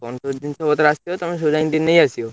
କଣ ସବୁ ଜିନିଷ ପତ୍ର ସବୁ ଆସିଥିବ ତମେ ସବୁ ଯାଇଁକି ଟିକେ ନେଇଆସିବ।